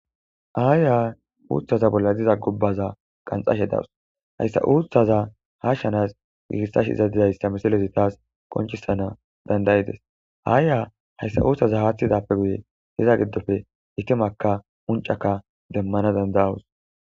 Aayya uuthaza bolla diza gubbaza qanxashe dawus hayssa uuthaza ha shanas gigissash izadidayssa misilezi taas qonchisana dandayides aayya hayssa uutthaza haaththidappe guye hiza giddofe itimakka uncaka demmana dandayawus.